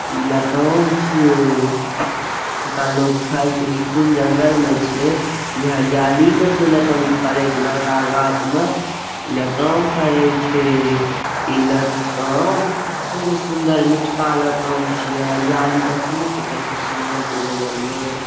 ई ला कौन छी। ई का लोग खाइत की कुल जंगल में छे। ई हरियाली में छे फरे छे बड़का गाछ मा। ई रतवा में फरे छे। ई रतवा में खूब सुंदर मीठ का राता में छी हरियाली देखते न छे कते सुन्दर छे जंगल में।